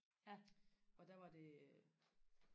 og der var det